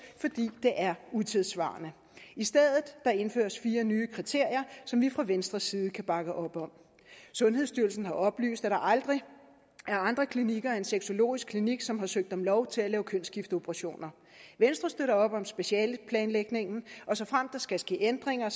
fordi det er utidssvarende i stedet indføres fire nye kriterier som vi fra venstres side kan bakke op om sundhedsstyrelsen har oplyst at der aldrig er andre klinikker end sexologisk klinik som har søgt om lov til at lave kønsskifteoperationer venstre støtter op om specialeplanlægningen og såfremt der skal ske ændringer